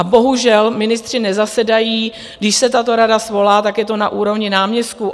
A bohužel ministři nezasedají, když se tato rada svolá, tak je to na úrovni náměstků.